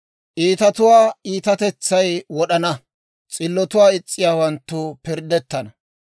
Iitatuwaa iitatetsay wod'ana; s'illotuwaa is's'iyaawanttu pirddettana.